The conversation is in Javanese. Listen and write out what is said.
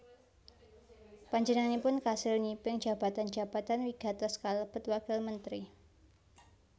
Panjenenganipun kasil nyipeng jabatan jabatan wigatos kalebet Wakil Mentri